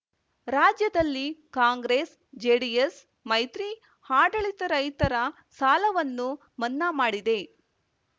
ರಾಜ್ಯದಲ್ಲಿ ಕಾಂಗ್ರೆಸ್ ಜೆಡಿಎಸ್ ಮೈತ್ರಿ ಆಡಳಿತ ರೈತರ ಸಾಲವನ್ನು ಮನ್ನಾ ಮಾಡಿದೆ